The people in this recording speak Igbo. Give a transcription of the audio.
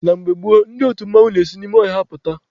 Na mgbe gboo, ndị otu mmanwụ n'esi n'ime ọhịa apụta.